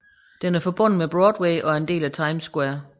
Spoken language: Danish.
Den er forbundet med Broadway og er en del af Times Square